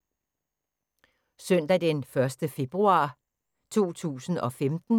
Søndag d. 1. februar 2015